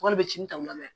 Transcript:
Wari bɛ ci ta u la dɛ